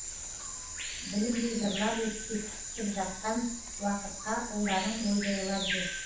білінбей зырлап өтіп кетіп жатқан уақытқа ұлдарың ойбайлап жүр